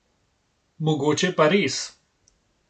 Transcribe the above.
Mogoče pa res.